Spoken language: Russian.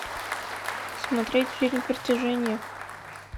смотреть фильм притяжение